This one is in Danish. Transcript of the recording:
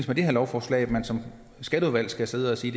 med det her lovforslag at man som skatteudvalg skal sidde og sige